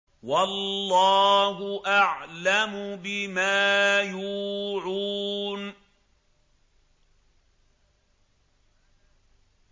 وَاللَّهُ أَعْلَمُ بِمَا يُوعُونَ